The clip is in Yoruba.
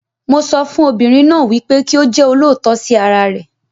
Mo sọ fún obìnrin náà wípé kí ó jẹ́ olóòótọ sí ara rẹ̀.